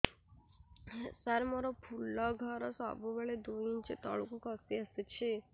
ସାର ମୋର ଫୁଲ ଘର ସବୁ ବେଳେ ଦୁଇ ଇଞ୍ଚ ତଳକୁ ଖସି ଆସିଛି